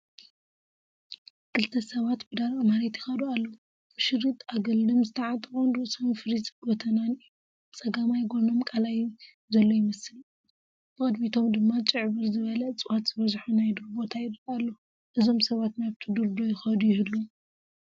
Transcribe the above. ክልተ ሰባት ብደረቕ መሬት ይኸዱ ኣለው፡፡ ብሸሪጥ ኣገልድም ዝተዓጠቑን ርእሶም ፊሪዝ ጎተናን እዩ፡፡ ብፀጋማይ ጎኖም ቃላይ ዘሎ ይመስል፡፡ ብቕድሚቶም ድማ ጭዕብር ዝበለ እፀዋት ዝበዝሖ ናይ ዱር ቦታ ይረአ ኣሎ፡፡ እዞም ሰባት ናብቲ ዱር ዶ ይኸዱ ይህልው?